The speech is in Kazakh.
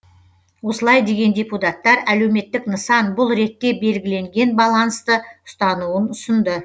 осылай деген депутаттар әлеуметтік нысан бұл ретте белгіленген балансты ұстануын ұсынды